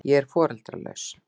Ég er foreldralaus.